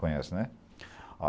Conhece, né?